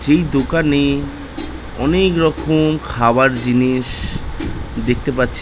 যেই দোকানে অনেকরকম খাবার জিনিস দেখতে পাচ্ছি।